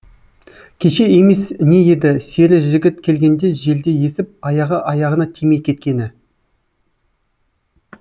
кеше емес не еді сері жігіт келгенде желдей есіп аяғы аяғына тимей кеткені